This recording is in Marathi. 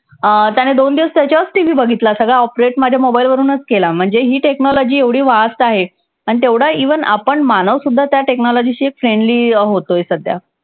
अं त्याने दोन दिवस त्याच्यावरच TV बघितला. सगळा oprate माझ्या mobile वरूनच केला. म्हणजे ही technology एवढी fast आहे. आणि तेवढं even आपण मानवसुद्धा त्या technology शी friendly होतोय सध्या.